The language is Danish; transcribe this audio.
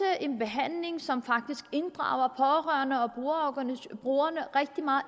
en behandling som faktisk inddrager pårørende og brugerne rigtig meget